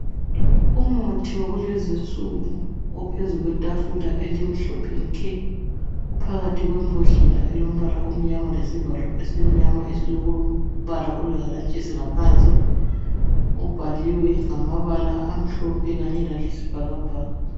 umuthi wakulezinsuku ophezulu kwetafula elimhlophe nke uphakathi kwembodlela elombala omnyama lesivalo esimnyama esilombala olehalantshisi ngaphansi ubhaliwe ngamabala amahlophe kanye layisibhakabhaka